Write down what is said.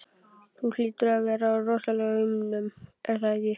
Þú hlýtur að vera á rosalaunum, er það ekki?